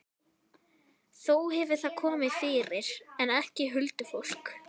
Þó hefur það komið fyrir, en ekki huldufólk.